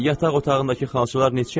Yataq otağındakı xalçalar neçəyədir?